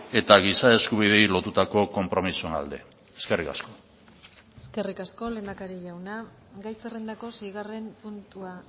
eta giza eskubideei lotutako konpromisoen alde eskerrik asko eskerrik asko lehendakari jauna gai zerrendako seigarren puntua